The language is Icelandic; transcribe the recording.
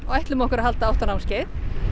ætlum okkur að halda átta námskeið